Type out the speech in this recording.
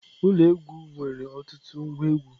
Ụlọ egwu nwere ọtụtụ ngwa egwu.